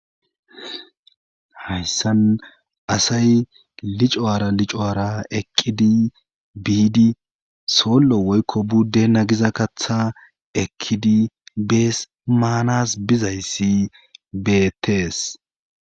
hayssan asay licara licoara ekkidi biidi soollo woykko buddena giza katha ekkidi bees maanas bizayssi beettees